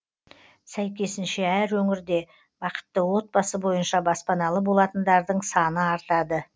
сәйкесінше әр өңірде бақытты отбасы бойынша баспаналы болатындардың саны артады